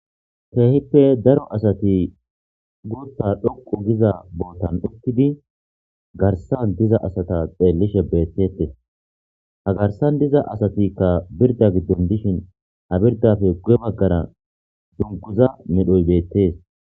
Keehippe daro asati guutta xoqqu gida bootan uttidi garssan diza asatas xeelishe beetetees. Ha garssan diza asatikka birdda gidon dishin ha birddappe guye bagara dungguzza medhoy beetees.